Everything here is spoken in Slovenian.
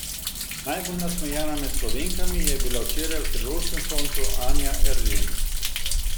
Najbolj nasmejana med Slovenkami je bila včeraj v tirolskem soncu Anja Eržen.